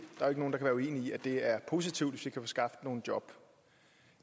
der kan være uenige i at det er positivt hvis vi kan få skabt nogle job